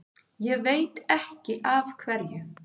Ég veit ekki af hverju.